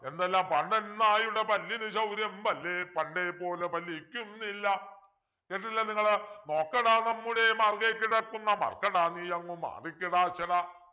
എന്തെല്ലാ പാണ്ടൻ നായുടെ പല്ലിനു ശൗര്യം പല്ലേ പണ്ടേ പോലെ ഫലിക്കുന്നില്ല കേട്ടില്ലേ നിങ്ങള് നോക്കെടാ നമ്മുടെ മാർഗ്ഗേ കിടക്കുന്ന മാർക്കട നീയങ്ങു മാറികിടാക്കെട